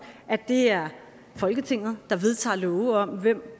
at det er folketinget der vedtager love om hvem